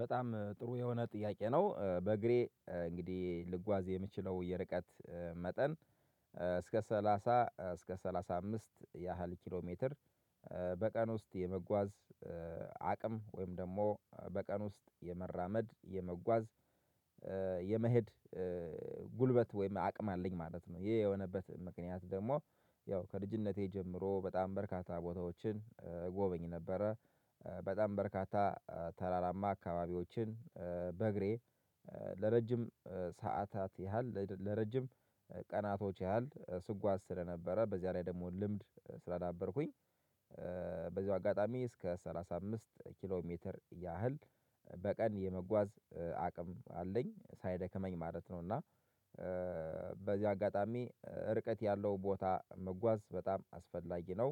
በጣም ጥሩ የሆነ ጥያቄ ነው በእግሬ እንግዲህ ልጓዝ የምችለው የርቀት መጠን እስከ ሰላሳ እስከ ሰላሳ አምስት ያህል ኪሎ ሜትር በቀን ውስጥ የመጓዝ አቅም ወይም ደግሞ በቀን ውስጥ የመራመድ የመጓዝ የመሄድ ጉልበት ወይም አቅም አለኝ ማለት ነው። ይሄ የሆነበት ምክንያት ደግሞ ያው ከልጅነቴ ጀምሮ በጣም በርካታ ቦታዎችን እጎበኝ ነበረ በጣም በርካታ ተራራማ አካባቢዎችን በእግሬ ለረጅም ሰዓታት ያህል ለረጅም ቀናቶች ያህል ስጓዝ ስለነበረ በዚያ ላይ ደግሞ ልምድ ስላዳበርኩኝ። በዚሁ አጋጣሚ እስከ ሰላሳ አምስት ኪሎ ሜትር ያህል በቀን የመጓዝ አቅም አለኝ ሳይደከመኝ ማለት ነው። እና በዚህ አጋጣሚ ርቀት ያለው ቦታ መጓዝ በጣም አስፈላጊ ነው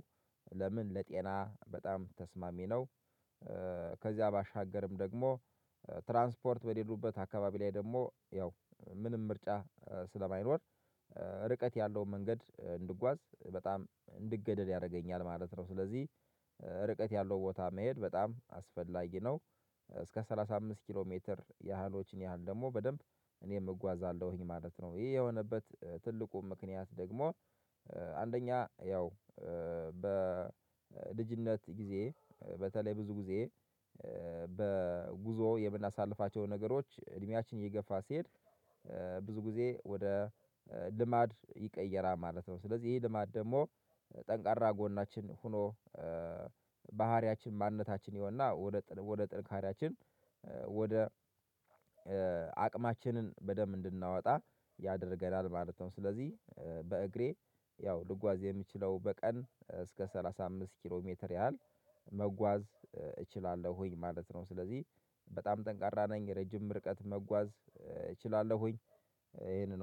ለምን ለጤና በጣም ተስማሚ ነው። ከዚያ ባሻገርም ደግሞ ትራንስፖርት በሌሉበት አካባቢ ላይ ደግሞ ያው ምንም ምርጫ ስለማይኖር ርቀት ያለውን መንገድ እንድጓዝ በጣም እንድገደድ ያደርገኛል ማለት ነው። ስለዚህ ርቀት ያለው ቦታ መሄድ በጣም አስፈላጊ ነው። እስከ ሰላሳ አምስት ኪሎ ሜትር ያህሎችን ያህል ደግሞ በደንብ እኔም እጓዛለሁኝ ማለት ነው። ይሄ የሆነበት ትልቁ ምክንያት ደግሞ አንደኛ ያው በልጅነት ጊዜ በተለይ ብዙ ጊዜ በጉዞው የምናሳልፋቸው ነገሮች እድሜያችን እየገፋ ሲሄድ ብዙ ጊዜ ወደ ልማድ ይቀየራል ማለት ነው። ስለዚህ ይሄ ልማድ ደግሞ ጠንካ ራ ጎናችን ሆኖ ባህሪያችን ማንነታችን ይሆንና ወደ ጥንካሬያችን ወደ አቅማችንን በደንብ እንድናወጣ ያደርገናል ማለት ነው። ስለዚህ በእግሬ ያው ልጓዝ የምችለው በቀን እስከ ሰላሳ አምስት ኪሎ ሜትር ያህል መጓዝ እችላለሁኝ ማለት ነው። ስለዚህ በጣም ጠንካራ ነኝ ረጅም ምርቀት መጓዝ እችላለሁኝ። ይሄንን